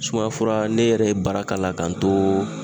Sumaya fura ne yɛrɛ ye bara k'a la k'a n too